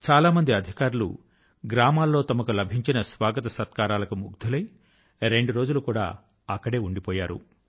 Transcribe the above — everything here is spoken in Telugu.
చాలా మంది అధికారులు గ్రామాల్లో తమకు లభించిన స్వాగత సత్కారాల కు ముగ్ధులై రెండు రోజులు అక్కడే ఉండిపోయారు